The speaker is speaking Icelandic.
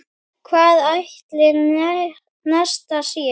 Hvar ætli Nesta sé?